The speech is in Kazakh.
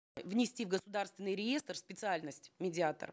внести в государственный реестр специальность медиатор